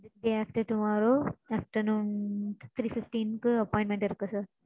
Day after tomorrow afternoon three fifteen க்கு appointment இருக்கு sir.